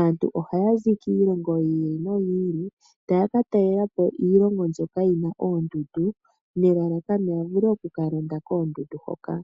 Aantu ohaya zi kiilongo yi ili noyi ili taya katalelapo iilongo mbyoka yina oondundu nelalakano ya vule okukalonda koondundu hoka.